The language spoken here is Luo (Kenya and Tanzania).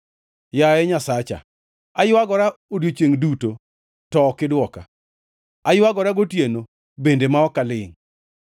Yaye Nyasacha, aywagora odiechiengʼ duto to ok idwoka, aywagora gotieno bende ma ok alingʼ.